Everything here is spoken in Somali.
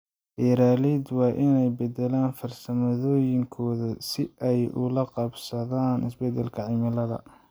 Beeraleydu waa inay beddelaan farsamooyinkooda si ay ula qabsadaan isbeddelka cimilada.